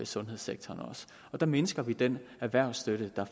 sundhedssektoren der mindsker vi den erhvervsstøtte der